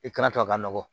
I kana to a ka nɔgɔ